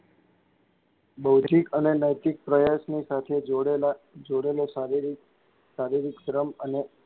બૌધિક અને નૈતિક પ્રયાસની સાથે જોડેલાં જોડેલો શારીરિક શારીરિક શ્રમ અને,